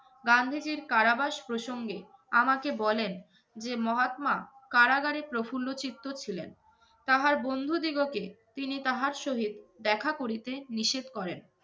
গান্ধীজীর কারাবাস প্রসঙ্গে আমাকে বলেন, যে মহাত্মা কারাগারে প্রফুল্ল চিত্ত ছিলেন। তাহার বন্ধুদিগকে তিনি তাহার সহিত দেখা করিতে নিষেধ করেন।